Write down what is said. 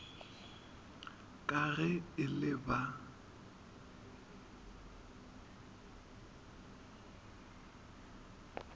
ka ge e le ba